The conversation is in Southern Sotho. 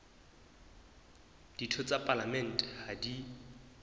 ditho tsa palamente ha di